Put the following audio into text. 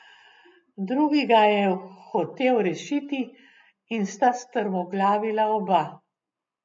Drugi ga je hotel rešiti, in sta strmoglavila oba.